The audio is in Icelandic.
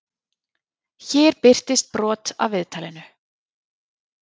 Hér birtist brot af viðtalinu.